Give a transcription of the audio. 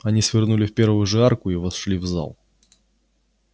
они свернули в первую же арку и вошли в зал